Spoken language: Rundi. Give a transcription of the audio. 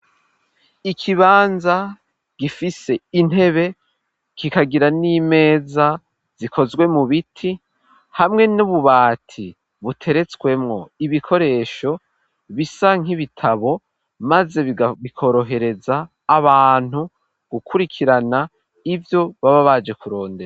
Ikibanza gifise intebe kikagira n'imeza zikozwe mu biti hamwe n'ububati buteretswemo ibikoresho bisa nk'ibitabo maze bikorohereza abantu gukurikirana ibyo baba baje kurondera.